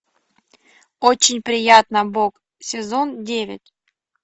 очень приятно бог сезон девять